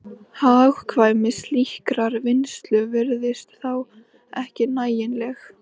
Hagkvæmni slíkrar vinnslu virtist þá ekki nægjanleg.